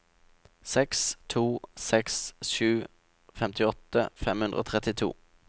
seks to seks sju femtiåtte fem hundre og trettito